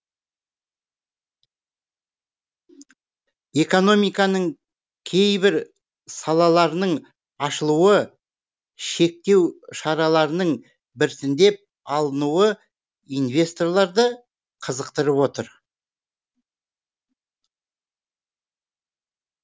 экономиканың кейбір салаларының ашылуы шектеу шараларының біртіндеп алынуы инвесторларды қызықтырып отыр